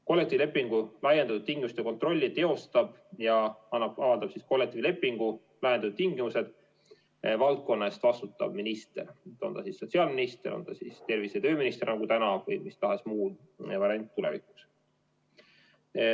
Kollektiivlepingu laiendatud tingimuste kontrolli teostab ja kollektiivlepingu laiendatud tingimused avaldab valdkonna eest vastutav minister, on ta siis sotsiaalminister, tervise- ja tööminister või mis tahes muu variant tulevikuks.